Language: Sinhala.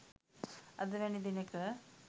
අද වැනි දිනෙක